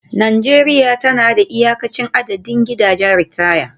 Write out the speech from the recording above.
Najeriya tana da iyakacin adadin gidajen ritaya